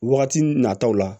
Wagati nataw la